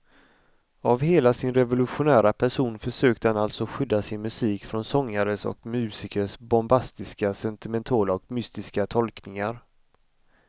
Av hela sin revolutionära person försökte han alltså skydda sin musik från sångares och musikers bombastiska, sentimentala och mystiska tolkningar.